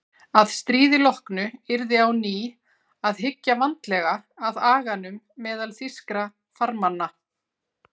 Að stríði loknu yrði á ný að hyggja vandlega að aganum meðal þýskra farmanna.